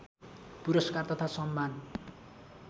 पुरस्कार तथा सम्मान